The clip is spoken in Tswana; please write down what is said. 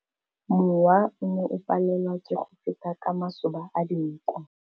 Mowa o ne o palelwa ke go feta ka masoba a dinko.